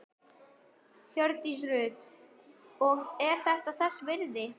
Hjördís Rut: Og er þetta þess virði?